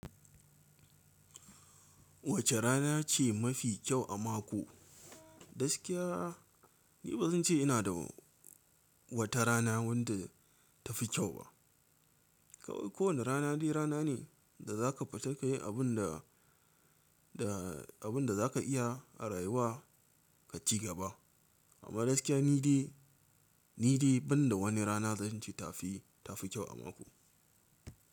Wace rana ce mafi kyau a mako? Gaskiya ni ba zan ce ina da wata rana wadda ta fi kyau ba. Kowane rana dai rana ne da za ka fita ka yi abin da, da abin da za ka iya a rayuwa ka ci gaba. Amma gaskiya ni dai, ni dai ban da wani rana zan ce ta fi, ta fi kyau a mako.